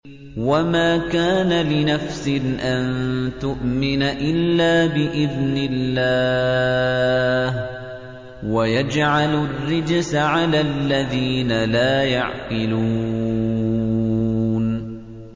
وَمَا كَانَ لِنَفْسٍ أَن تُؤْمِنَ إِلَّا بِإِذْنِ اللَّهِ ۚ وَيَجْعَلُ الرِّجْسَ عَلَى الَّذِينَ لَا يَعْقِلُونَ